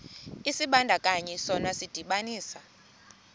isibandakanyi sona sidibanisa